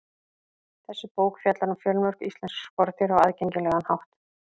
Þessi bók fjallar um fjölmörg íslensk skordýr á aðgengilegan hátt.